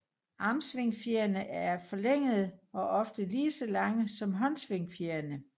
Armsvingfjerne er forlængede og ofte lige så lange som håndsvingfjerene